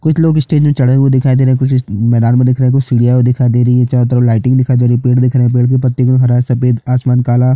कुछ लोग स्टेज में चढ़े हुए दिखाई दे रहे है कुछ मैदान में दिखाई दे रहे है कुछ सीढियां भी दिखाई दे रही है चारों तरफ लाइटिंग दिखाई दे रही है पेड़ दिख रहे है पेड़ के पत्ते भी हरा सफेद आसमान काला --